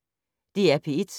DR P1